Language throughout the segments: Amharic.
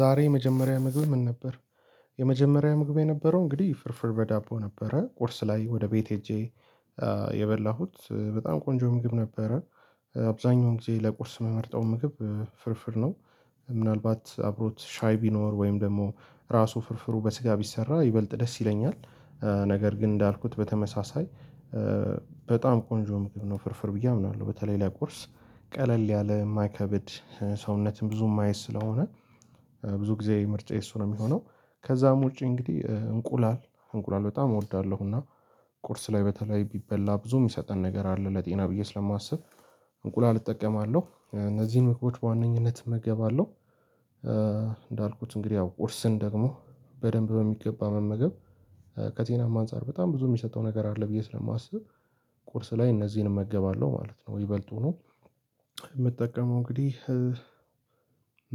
ዛሬ የመጀመሪያ ምግቢ ምን ነበር? የመጀመሪያ ምግብ የነበረው እንግዲህ ፍርፍር በዳቦ ነበረ ቁርስ ላይ ወደ ቤቴ ሄጄ የበላሁት በጣም ቆንጆ ምግብ ነበረ አብዛኛውን ጊዜ ለቁርስ የምመርጠው ምግብ ፍርፍር ነው። ምናልባት አብሮት ሻይ ቢኖር ወይም ደግሞ ራሱ ፍርፍሩ በስጋ ቢሰራ ይበልጥ ደስ ይለኛል። ነገር ግን እንዳልኩት በተመሳሳይ በጣም ቆንጆ ምግብ ነው ፍርፍር ብዬ አምናለዉ። በተለይ ለቁርስ ቀለል ያለ የማይከብድ ሰውነትም ብዙም ማይዝ ስለሆነ ብዙ ጊዜ ምርጫዬ እሱ ነው የሚሆነው ከዛም ውጪ እንግዲህ እንቁላል እንቁላል በጣም እወልዳለው እና ቁርስ ላይ በተለይ ቢበላ ብዙ የሚሰጠን ነገር አለ ለጤና ብዬ ስለማስብ እንቁላል እጠቀማለው እነዚህን መግቦች በዋነኝነት አመገባለው እንዳልኩት እንግዲህ ያው ቁርስን ደግሞ በደንብ በሚገባ መመገብ ከጤናማ አንፃር በጣም ብዙ የሚሰጠው ነገር አለ ብዬ ስለማስብ ቁርስ ላይ እነዚህን እመገባለው ማለት ነው። ይበልጡኑ ምጠቀመው እንግዲህ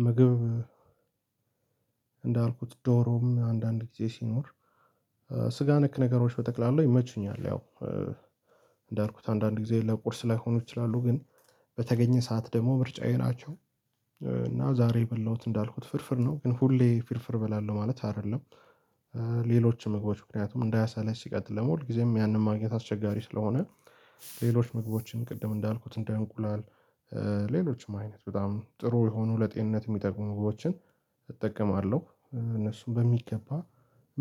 ምግብ እንዳልኩት ዶሮም አንዳንድ ጊዜ ሲኖር ስጋ ነክ ነገሮች በጠቅላላ ይመቹኛል ያው እንዳልኩት አንዳንድ ጊዜ ለቁርስ ላይሆኑ ይችላሉ ግን በተገኘ ሰዓት ደግሞ ምርጫዬ ናቸው። እና ዛሬ የበላሁት እንዳልኩት ፍርፍር ነው ግን ሁሌ ፍርፍር እበላለው ማለት አይደለም ሌሎች ምግቦች ምክንያቱም እንዳያሰለች ሲቀጥል ደግሞ ሁልጊዜም ያንን ማግኘት አስቸጋሪ ስለሆነ ሌሎች ምግቦችን ቅድም እንዳልኩት እንደ እንቁላል ሌሎችም አይነት በጣም ጥሩ የሆኑ ለጤንነት የሚጠቁሙ ምግቦችን እጠቀማለሁ እነሱን በሚገባ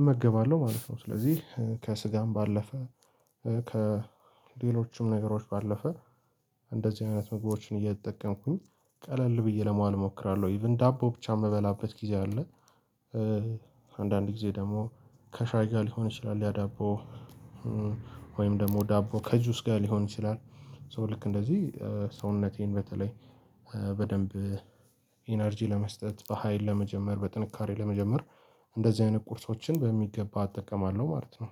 እመግባለሁ ማለት ነው። ስለዚህ ከስጋም ባለፈ ከሌሎችም ነገሮች ባለፈ እንደዚህ አይነት ምግቦችን እየተጠቀምኩኝ ቀለል ብዬ ለመዋል እሞክራለው ኢቭን ዳቦ ብቻ ምበላበት ጊዜ አለ። አንዳንድ ጊዜ ደግሞ ከሻይ ጋ ሊሆን ይችላል ያዳቦ ወይም ደግሞ ዳቦ ከጁስ ጋር ሊሆን ይችላል ሶ ልክ እንደዚህ ሰውነቴን በተለይ በደንብ ኢነርጂ ለመስጠት በሃይል ለመጀመር በጥንካሬ ለመጀመር እንደዚህ አይነት ቁርሶችን በሚገባ አጠቀማለው ማለት ነው።